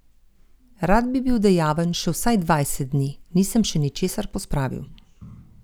Rad bi bil dejaven še vsaj dvajset dni, nisem še ničesar pospravil.